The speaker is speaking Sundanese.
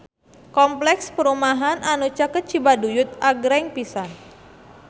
Kompleks perumahan anu caket Cibaduyut agreng pisan